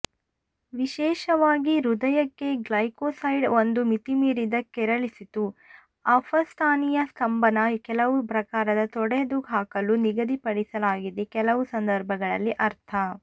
ವಿಶೇಷವಾಗಿ ಹೃದಯ ಗ್ಲೈಕೋಸೈಡ್ ಒಂದು ಮಿತಿಮೀರಿದ ಕೆರಳಿಸಿತು ಅಪಸ್ಥಾನೀಯ ಸ್ತಂಭನ ಕೆಲವು ಪ್ರಕಾರದ ತೊಡೆದುಹಾಕಲು ನಿಗದಿಪಡಿಸಲಾಗಿದೆ ಕೆಲವು ಸಂದರ್ಭಗಳಲ್ಲಿ ಅರ್ಥ